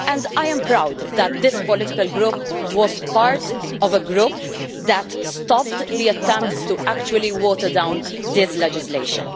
I am proud that this political group was part of a group that stopped the attempts to water down this legislation.